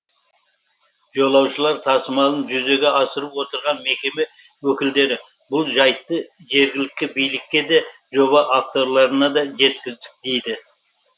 жолаушылар тасымалын жүзеге асырып отырған мекеме өкілдері бұл жайтты жергілікті билікке де жоба авторларына да жеткіздік дейді